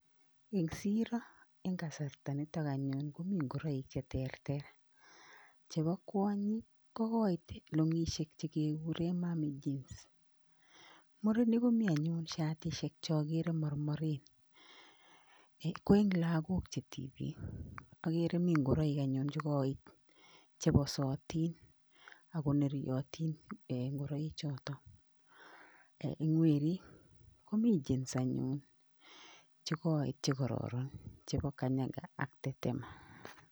Eng siro eng kasarta nitok anyun komi ngoroik che terter, chebo kwonyik ko koit longishek chekegure mammy jeans. Murenik komi anyun shatishet chakere mormoren. Ko eng lagok che tipik agere mi ngoroik chekoit cheposotin akoneryotin, ngoroichotok. Eng werik komi jeans anyun chekoit chekororon chebo kanyaga ak tetema.